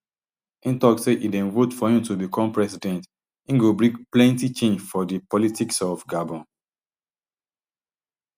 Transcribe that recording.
im tok say if dem vote for im to become president im go bring plenty change for di politics of gabon